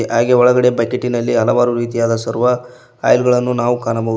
ಹಾಗೆ ಒಳಗೆ ಬಕೇಟಿ ನಲ್ಲಿ ಹಲವಾರು ರೀತಿಯದ ಸರ್ವರ್ ಆಯಿಲ್ ಗಳನ್ನು ನಾವು ನೋಡಬಹುದು.